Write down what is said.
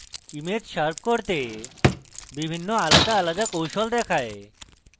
image sharp করতে বিভিন্ন আলাদা আলাদা কৌশল দেখায়